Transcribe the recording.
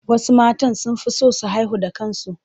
Wasu matan sun fi son su haihu da kansu.